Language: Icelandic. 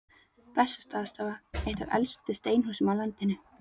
Bessastaðastofa, eitt af elstu steinhúsum á landinu.